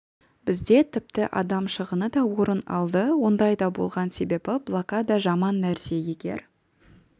бізде тіпті адам шығыны да орын алды ондай да болған себебі блокада жаман нәрсе егер